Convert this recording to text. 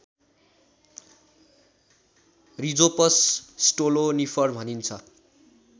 Rhizopus stolonifer भनिन्छ